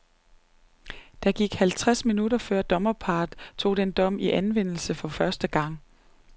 Der gik halvtreds minutter før dommerparret tog den dom i anvendelse for første gang.